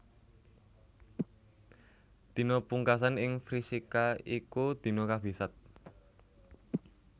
Dina pungkasan ing Vrishika iku dina kabisat